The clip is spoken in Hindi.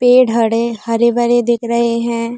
पेड़ हड़े हरे-भरे दिख रहे हैं।